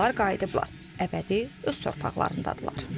Onlar qayıdıblar əbədi öz torpaqlarındadırlar.